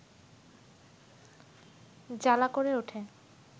জ্বালা করে উঠে